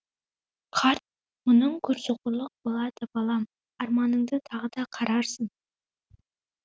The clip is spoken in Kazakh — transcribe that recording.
қарт мұның көрсоқырлық болады балам арманыңды тағы да қарарсың